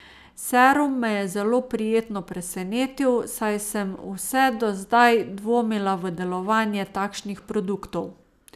Serum me je zelo prijetno presenetil, saj sem vse do zdaj dvomila v delovanje takšnih produktov.